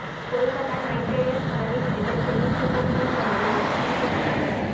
Kolkata Knight Riders கனவை சிதைத்த Chennai Super Kings அணியின் தீபக் சஹர்